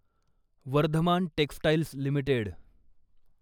Vardhman textiles limited